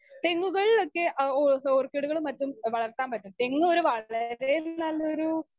Speaker 2 തെങ്ങുകൾലൊക്കെ എഹ് ഓ ഓർക്കിഡുകളും മറ്റും വളർത്താൻ പറ്റും. തെങ്ങ് ഒരു വളരെ നല്ലയൊരു